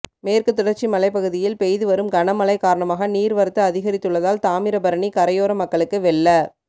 மேற்குத் தொடர்ச்சி மலைப் பகுதியில் பெய்துவரும் கனமழை காரணமாக நீர்வரத்து அதிகரித்துள்ளதால் தாமிரபரணி கரையோர மக்களுக்கு வெள்ள